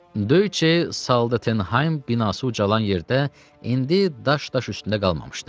Döyüşçü Saldetenxaym binası ucalan yerdə indi daş daş üstündə qalmamışdı.